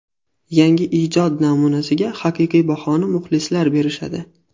Yangi ijod namunasiga haqiqiy bahoni muxlislar berishadi.